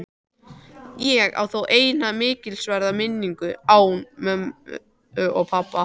Ég á þó eina mikilsverða minningu án mömmu og pabba.